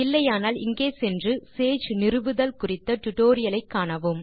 இல்லையானால் இங்கே சென்று சேஜ் நிறுவுதல் குறித்த டியூட்டோரியல் ஐ காணவும்